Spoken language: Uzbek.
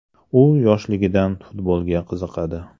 U yoshligidan futbolga qiziqadi.